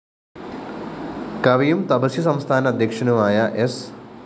കവിയും തപസ്യ സംസ്ഥാന അധ്യക്ഷനുമായ സ്‌